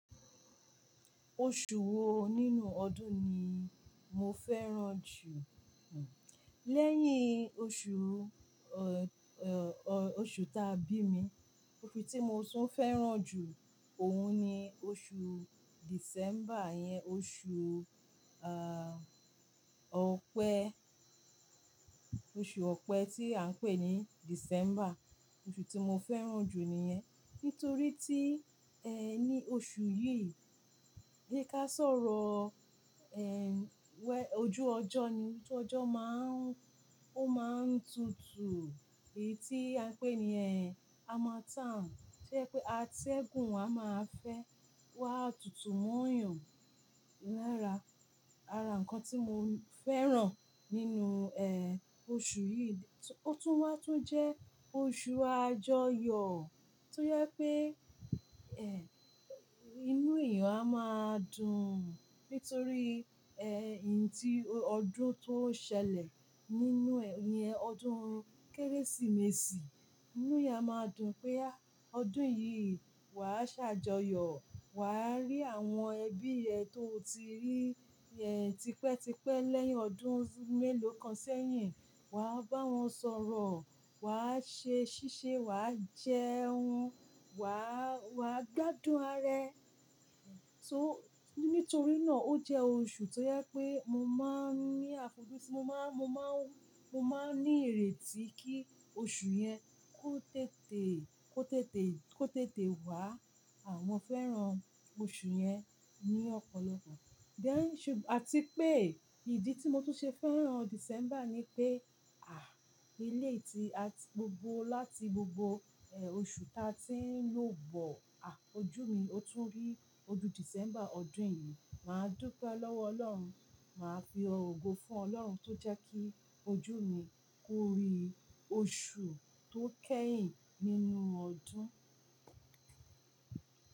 Oṣù wo nínú ọdún ni mo fẹ́ràn jù? Osu ta bimi. Oṣù tí mo tún fẹ́ràn jù òun ni oṣù December yẹn, oṣù, à, ọ̀pẹ́, oṣù ọ̀pẹ́ tí à ń pè ní December. Oṣù tí mo fẹ́ràn jù ni iyẹn. Nítorí tí, ẹ́ ní oṣù yìí, bí ká sọ̀rọ̀, ẹ́, ojú ọjọ́ ni, ojú ọjọ́ máa ń, ó máa ń tutù, èyí tí à ń pè ní ẹ́, harmattan, to je pé àtẹ̀gún wa máa fẹ́ wá tutù mọ̀nyọ̀. Lára, ara ǹkan tí mo fẹ́ràn nínú, ẹ́, oṣù yìí, ó tún wá tó jẹ́ oṣù àjọyọ̀ tó yẹ pé, ẹ́, inú èèyàn a máa dùn nítorí, ẹ́, ìyí tí ọdún tó ṣẹlẹ̀ nínú, ẹ́, yẹn ọdún Kérésìmesì. Inú èèyàn a máa dùn pé a, ọdún yìí wà á ṣàjọyọ̀, wà á rí àwọn ẹbí rẹ tó o ti rí, ẹ́, tipẹ́tipẹ́ lẹ́yìn ọdún mélòó kan sẹ́yìn. Wà á bá wọn sọ̀rọ̀, wà á ṣe ṣíṣe, wà á jẹun, wà á, wà á gbádùn arẹ. So, nítorí náà ó jẹ́ oṣù tó yẹ pé mo máa ń ní àfojúsùn, mo máa, mo máa ń, mo máa ń ní ìrètí kí oṣù yẹn kó tètè, kó tètè, kó tètè wá. À mọo fẹ́ràn oṣù yẹn ní ọ̀pọ̀lọpọ̀. Àti pé ìdí tí mo tún ṣe fẹ́ràn December ni pé, à, eléèti àti gbogbo láti gbogbo, ẹ́, oṣù ta tí ń lò bọ̀, à, ojú mi ó tún rí ọdún December ọdún yìí. Mà á dúpẹ́ lọ́wọ́ Ọlọ́run, mà á fi ọ̀ ogo fún Ọlọ́run tó jẹ́ kí ojú mi kó rí oṣù tó kẹ́yìn nínú ọdún.